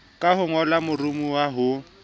ka ho ngolla moromowa ho